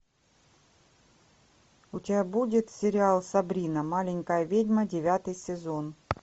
у тебя будет сериал сабрина маленькая ведьма девятый сезон